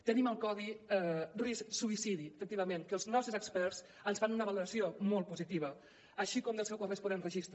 tenim el codi risc suïcidi efectivament que els nostres experts ens en fan una valoració molt positiva així com del seu corresponent registre